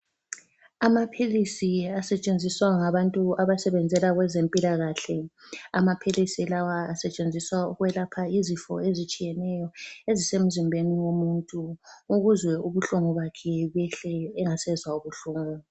Amaphilisi asetshenziswa ngabantu abasebenzela kwezempilakahle. Amaphilisi lawa asetshenziswa ukwelapha izifo ezitshiyeneyo ezisemzimbeni womuntu, ukuze ubuhlungu bakhe behle engasezwa buhlungu.